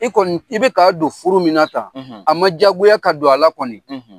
I kɔnni , i bɛ ka don furu min tan ,, a ma diyagoya ka don a la kɔnni.